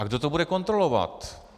A kdo to bude kontrolovat?